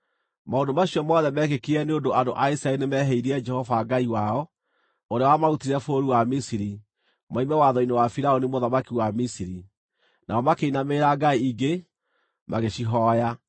Maũndũ macio mothe meekĩkire nĩ ũndũ andũ a Isiraeli nĩmehĩirie Jehova Ngai wao, ũrĩa wamarutĩte bũrũri wa Misiri moime watho-inĩ wa Firaũni mũthamaki wa Misiri. Nao makĩinamĩrĩra ngai ingĩ, magĩcihooya,